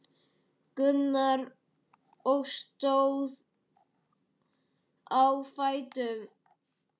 Gunnar og stóð á fætur.